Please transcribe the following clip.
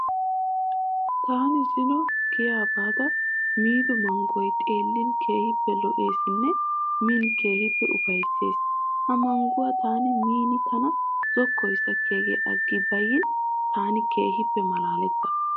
Taani zino giyaa baada miido manggoy xeellin keehippe lo'eesinne miin keehippe ufayissees. Ha mangguwa taani miin tana zokkoy sakkiyagee aggi bayiin taani keehippe malaalettaas.